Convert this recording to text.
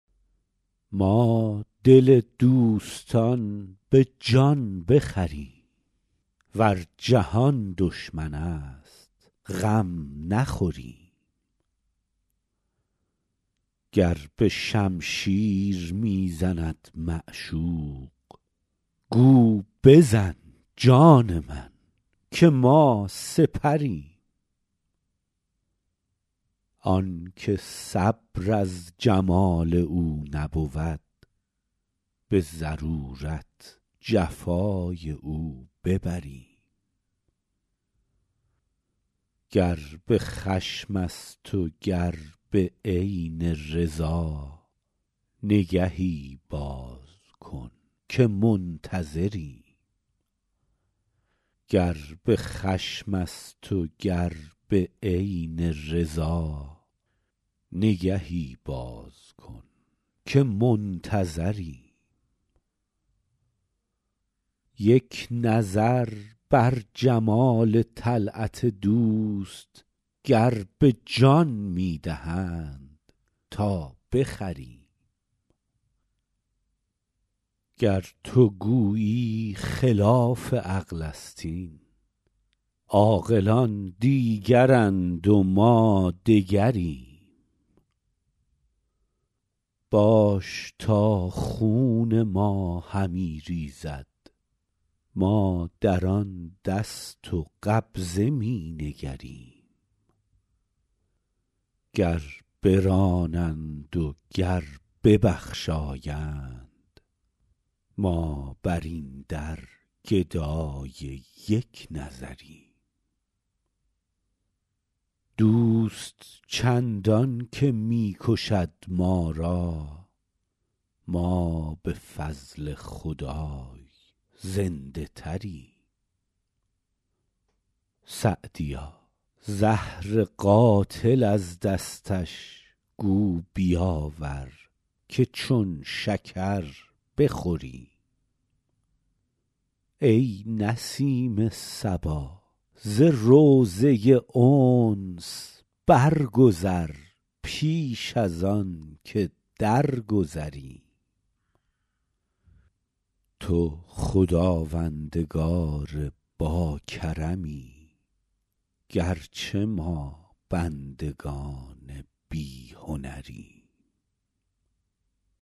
ما دل دوستان به جان بخریم ور جهان دشمن است غم نخوریم گر به شمشیر می زند معشوق گو بزن جان من که ما سپریم آن که صبر از جمال او نبود به ضرورت جفای او ببریم گر به خشم است و گر به عین رضا نگهی باز کن که منتظریم یک نظر بر جمال طلعت دوست گر به جان می دهند تا بخریم گر تو گویی خلاف عقل است این عاقلان دیگرند و ما دگریم باش تا خون ما همی ریزد ما در آن دست و قبضه می نگریم گر برانند و گر ببخشایند ما بر این در گدای یک نظریم دوست چندان که می کشد ما را ما به فضل خدای زنده تریم سعدیا زهر قاتل از دستش گو بیاور که چون شکر بخوریم ای نسیم صبا ز روضه انس برگذر پیش از آن که درگذریم تو خداوندگار باکرمی گر چه ما بندگان بی هنریم